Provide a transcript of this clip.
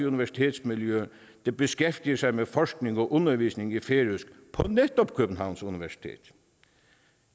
universitetsmiljø der beskæftiger sig med forskning og undervisning i færøsk på netop københavns universitet